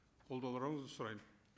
қолдауларыңызды сұраймын